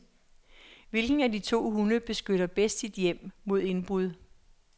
Hvilken af de to hunde beskytter bedst sit hjem mod indbrud.